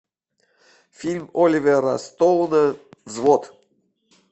фильм оливера стоуна взвод